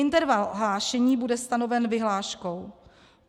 Interval hlášení bude stanoven vyhláškou.